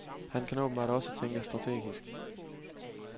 Han kan åbenbart også tænke strategisk.